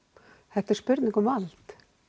þetta er spurning um vald